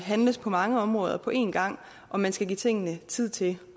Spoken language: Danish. handles på mange områder på en gang og man skal give tingene tid til